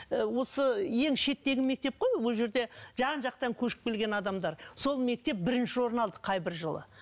ы осы ең шеттегі мектеп қой ол жерде жан жақтан көшіп келген адамдар сол мектеп бірінші орын алды қай бір жылы